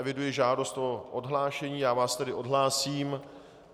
Eviduji žádost o odhlášení, já vás tedy odhlásím.